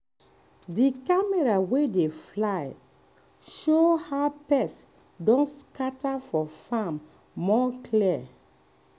di camera wey dey fly show how pest don scatter for farm more clear.